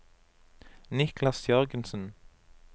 Niklas Jørgensen